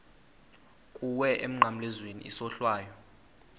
kuwe emnqamlezweni isohlwayo